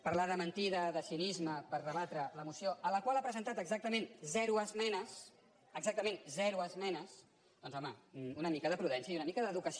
parlar de mentida de cinisme per rebatre la moció a la qual ha presentat exactament zero esmenes exactament zero esmenes doncs home una mica de prudència i una mica d’educació